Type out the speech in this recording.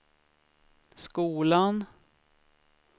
skolan